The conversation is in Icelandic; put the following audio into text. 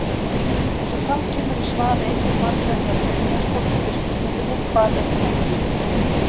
Eins og fram kemur í svar Eyju Margrétar Brynjarsdóttur við spurningunni Hvað er þekking?